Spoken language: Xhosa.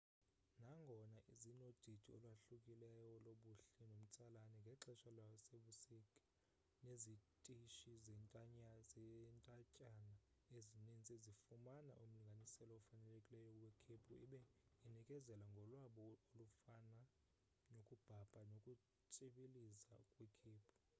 nangona zinodidi olwahlukileyo lobuhle nomtsalane ngexesha lasebusika nezitishi zentatyana ezinintsi zifumana umlinganiselo ofanelekileyo wekhephu ibe inikezela ngolwabo olufana nokubhabha nokutshibiliza kwikhephu